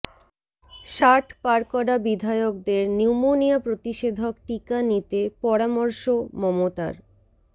ষাট পার করা বিধায়কদের নিউমোনিয়া প্রতিষেধক টিকা নিতে পরামর্শ মমতার